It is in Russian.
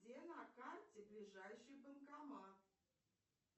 где на карте ближайший банкомат